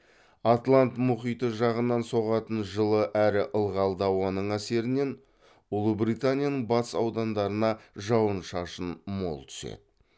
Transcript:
атлант мұхиты жағынан соғатын жылы әрі ылғалды ауаның әсерінен ұлыбританияның батыс аудандарына жауын шашын мол түседі